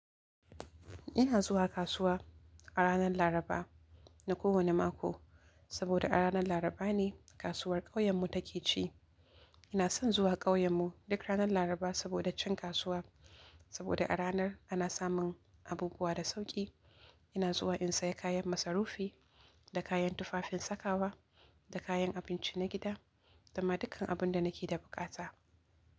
Ina zuwa kasuwa a ranar laraba na kowane mako sabuda a ranar larabane kasuwar kauyenmu ta ke ci ina son zuwa ƙauyenmu duk ranar Laraba saboda cin kasuwa, saboda a ranar ana samun abubuwa da sauƙi. Ina zuwa in saya kayan masarufi, da kayan tufafin sakawa, da kayan abinci na gida da ma dukan abun da nake da buƙata.